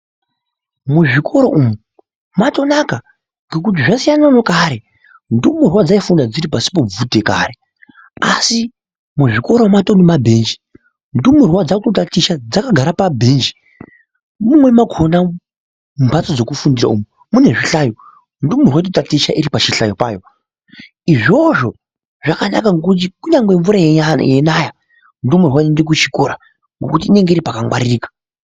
Muzvikoro umu mwatonaka ngekuti zvasiyana nekare, ndumurwa dzaifunda dziri pasi pebvute kare asi muzvikoro matowe nemabhenji. Ndumurwa dzakutaticha dzakagara pabhenji ,mumweni mwakona mumhatso dzekufundisa umu munezvinhlayo. Ndumurwa dzaakutaticha dzakagara pachihlayo padzo. Izvozvo zvakanaka ngekuti kunyange mvura yeinaya, ndumurwa inoende kuchikora ngekuti inenge iri pakangwaririka.